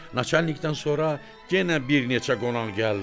Naçalnikdən sonra yenə bir neçə qonaq gəldi.